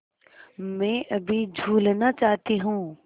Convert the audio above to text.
मैं अभी झूलना चाहती हूँ